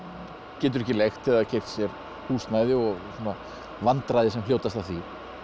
getur ekki leigt eða keypt sér húsnæði og svona vandræði sem hljótast af því